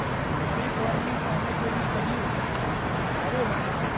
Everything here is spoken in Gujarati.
હવે ગોળ ની સામે ધોઈને કહ્યું આવો બાપા.